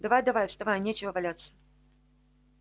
давай-давай вставай нечего валяться